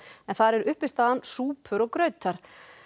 en þar er uppistaðan súpur og grautar